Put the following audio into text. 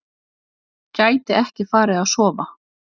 Gæti ekki farið að sofa.